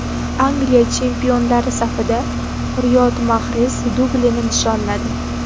Angliya chempionlari safida Riyod Mahrez dublini nishonladi.